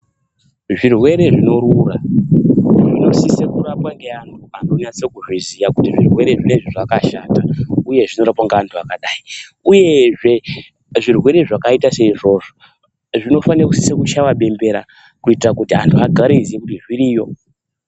Zvirwere zvinorura, zvinosise kurapwa ngeantu anonyatsozviziya kuti zvirwere zvinenge zvakashata uyezve zvinobata vantu vakadai. Uyezve zvirwere zvakaita seizvozvo, zvinotosise kuchaiwe bembera kuitira antu agaroziva kuti zviriyo.